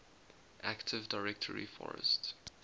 active directory forest